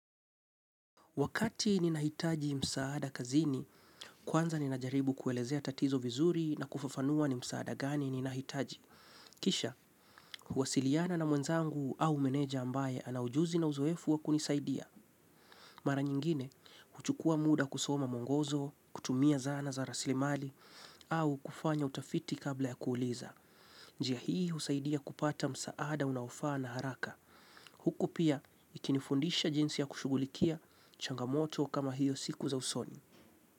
Wakati ninahitaji msaada kazini, kwanza ninajaribu kuelezea tatizo vizuri na kufafanua ni msaada gani ninahitaji. Kisha, huwasiliana na mwenzangu au meneja ambaye anaujuzi na uzoefu wa kunisaidia. Mara nyingine, huchukua muda kusoma mwongozo, kutumia zana za rasilimali, au kufanya utafiti kabla ya kuuliza. Njia hii husaidia kupata msaada unaofaa na haraka. Huku pia ikinifundisha jinsi ya kushughulikia changamoto kama hiyo siku za usoni.